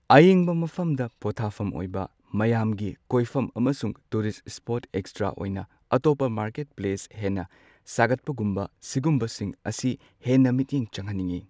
ꯑꯌꯤꯡꯕ ꯃꯐꯝꯗ ꯄꯣꯊꯥꯐꯝ ꯑꯣꯏꯕ ꯃꯌꯥꯝꯒꯤ ꯀꯣꯏꯐꯝ ꯑꯃꯁꯨꯡ ꯇꯨꯔꯤꯁ ꯁ꯭ꯄꯣꯠ ꯑꯦꯛꯁꯇ꯭ꯔꯥ ꯑꯣꯏꯅ ꯑꯇꯣꯞꯄ ꯃꯥꯔꯀꯦꯠ ꯄ꯭ꯂꯦꯁ ꯍꯦꯟꯅ ꯁꯥꯒꯠꯄꯒꯨꯝꯕ ꯁꯤꯒꯨꯝꯕꯁꯤꯡ ꯑꯁꯤ ꯍꯦꯟꯅ ꯃꯤꯠꯌꯦꯡ ꯆꯪꯍꯟꯅꯤꯡꯉꯤ꯫